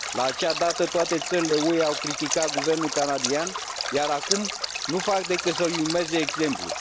La acea dată, toate țările UE au criticat guvernul canadian, iar acum nu fac decât să i urmeze exemplul.